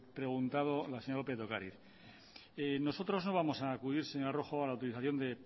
preguntado la señora lópez de ocariz nosotros no vamos a acudir señora rojo a la utilización de